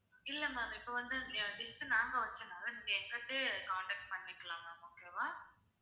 இல்ல ma'am இப்போ வந்து இந்த dish அ நாங்க வச்சதுனால நீங்க எங்ககிட்டயே contact பண்ணிக்கலாம் ma'am okay வா